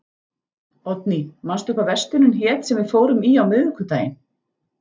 Oddný, manstu hvað verslunin hét sem við fórum í á miðvikudaginn?